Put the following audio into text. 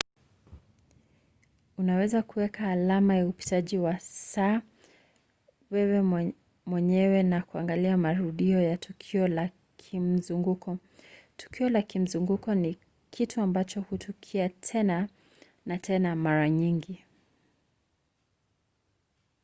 unaweza kuweka alama ya upitaji wa saa wewe mwenyewe kwa kuangalia marudio ya tukio la kimzunguko. tukio la kimzunguko ni kitu ambacho hutukia tena na tena mara nyingi